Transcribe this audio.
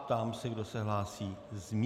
Ptám se, kdo se hlásí z místa.